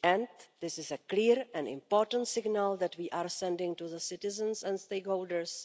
and this is a clear and important signal that we are sending to the citizens and stakeholders